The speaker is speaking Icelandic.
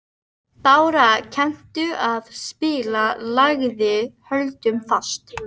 Bára, kanntu að spila lagið „Höldum fast“?